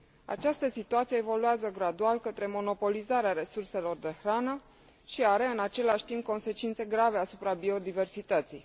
Această situație evoluează gradual către monopolizarea resurselor de hrană și are în același timp consecințe grave asupra biodiversității.